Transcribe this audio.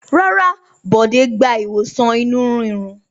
Rárá, Bọ̀dé gba ìwòsàn inú ríro.